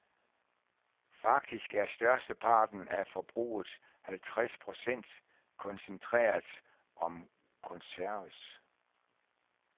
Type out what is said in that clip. Faktisk er størsteparten af forbruget, halvtreds procent, koncentreret om konserves.